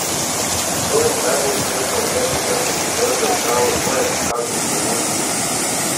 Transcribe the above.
Kdo in kdaj bo ustrezno ukrepal ter poskrbel za odpravo zgoraj predstavljene sramote?